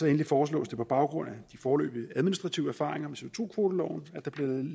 endelig foreslås det på baggrund af de foreløbige administrative erfaringer